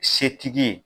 Setigi ye